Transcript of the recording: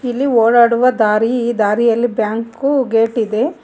ಅಲ್ಲಿ ಒಡಾಡುವ ದಾರಿ ಈ ದಾರಿಯಲ್ಲಿ ಬ್ಯಾಂಕು ಗೇಟ್ ಇದೆ.